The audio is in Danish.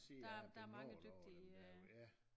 Der der mange dygtige øh ja